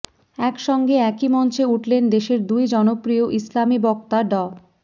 একসঙ্গে একই মঞ্চে উঠলেন দেশের দুই জনপ্রিয় ইসলামি বক্তা ড